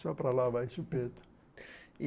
Só para lá vai, Chupeta. E